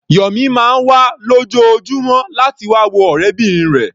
Yọ̀mí máa ń wá lójoojúmọ́ láti wá wo ọ̀rẹ́bìnrin rẹ̀.